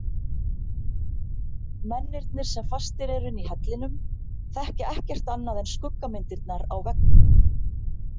Mennirnir sem fastir eru inni í hellinum þekkja ekkert annað en skuggamyndirnar á veggnum.